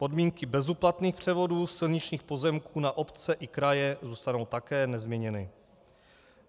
Podmínky bezúplatných převodů silničních pozemků na obce i kraje zůstanou také nezměněny.